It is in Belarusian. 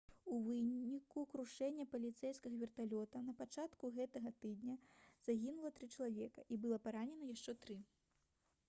у выніку крушэння паліцэйскага верталёта на пачатку гэтага тыдня загінула тры чалавекі і было паранена яшчэ тры